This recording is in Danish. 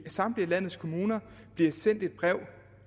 samtlige landets kommuner sendt et brev